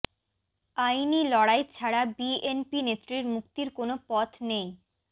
আইনি লড়াই ছাড়া বিএনপি নেত্রীর মুক্তির কোনো পথ নেই